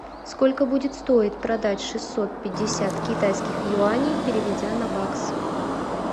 сколько будет стоить продать шестьсот пятьдесят китайских юаней переведя на бакс